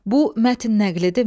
Bu mətn nəqlidirmi?